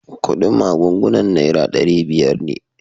Kudin magungunan naira dari biyar ne.